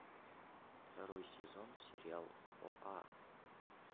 второй сезон сериал оа